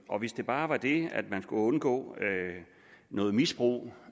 og hvis det bare var det at man skulle undgå noget misbrug